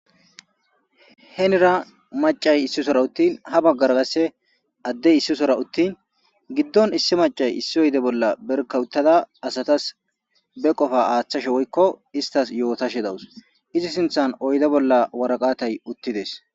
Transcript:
Henira maccay issi sora uttin ha baggara qasse addey issi sora uttin giddon issi maccay issi oyde bolla berkka uttada asatas be qofaa aathashe woykko isttas yootashe de7aws izi sinthan oyde bolla waraqatay uttides.